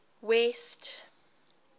west